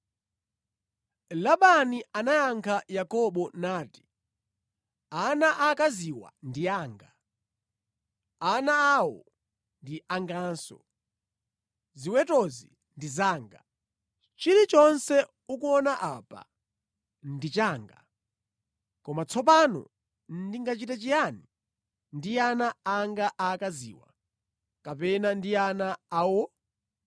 Labani anayankha Yakobo nati, “Ana aakaziwa ndi anga, ana awo ndi anganso. Ziwetozi ndi zanga. Chilichonse ukuona apa ndi changa. Koma tsopano ndingachite chiyani ndi ana anga aakaziwa kapena ndi ana awo?